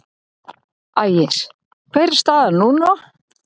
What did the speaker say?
Ægir: Hver er staðan núna?